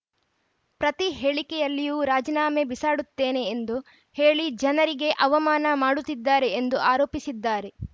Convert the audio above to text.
ಪ್ರತಿ ಹೇಳಿಕೆಯಲ್ಲಿಯೂ ರಾಜೀನಾಮೆ ಬಿಸಾಡುತ್ತೇನೆ ಎಂದು ಹೇಳಿ ಜನರಿಗೆ ಅವಮಾನ ಮಾಡುತ್ತಿದ್ದಾರೆ ಎಂದು ಆರೋಪಿಸಿದ್ದಾರೆ